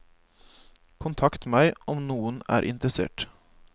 Kontakt meg om noen er interessert.